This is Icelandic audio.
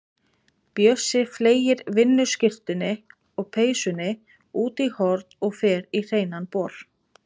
Bjössi fleygir vinnuskyrtunni og peysunni út í horn og fer í hreinan bol.